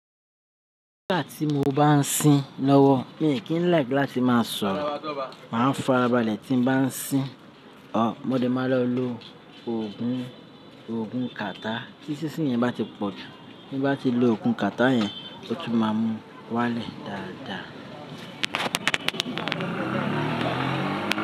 Nígbà tí mo bá ń sín lọ́wọ́, mi kí ń like láti máa sọ̀rọ̀. Màá ń farabalẹ̀ tín bá ń sín. Òó, mo lè máa lọ lo òògùn, òògùn kàtá. Tí sísín yẹn bá ti pọ̀ jù. Bí bá ti lo òògùn kàtá yẹn, ó tún máa mú wá lẹ̀ dáadáa.